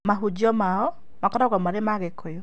Mahunjio mao makoragwo marĩ ma gĩkũyũ